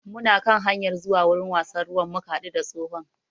Muna kan hanyar zuwa wurin wasan ruwan muka haɗu da tsohon